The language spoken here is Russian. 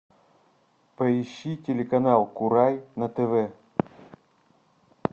поищи телеканал курай на тв